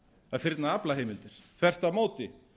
að fyrna aflaheimildir þvert á móti